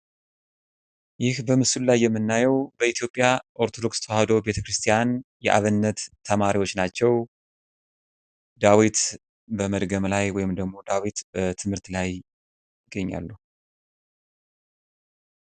ይህ በምስሉ ላይ የምናየው በኢትዮጵያ ኦርቶዶክስ ተዋሕዶ ቤተክርስቲያን የአብነት ተማሪዎች ናቸው። ዳዊት በመድገም ላይ ወይም ደግሞ ዳዊት በትምህርት ላይ ይገኛሉ።